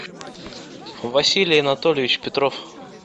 василий анатольевич петров